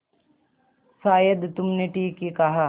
शायद तुमने ठीक ही कहा